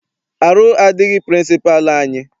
Arụ adịghị pịrịnsịpalụ anyị.